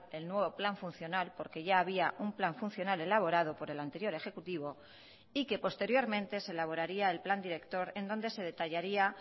el nuevo plan funcional porque ya había un plan funcional elaborado por el anterior ejecutivo y que posteriormente se elaboraría el plan director en donde se detallaría